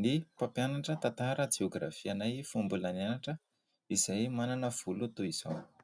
ny mpampianatra tantara-jeôgrafia anay fony mbola nianatra, manana volo toy izao.